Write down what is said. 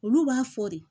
Olu b'a fɔ de